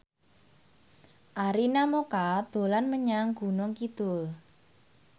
Arina Mocca dolan menyang Gunung Kidul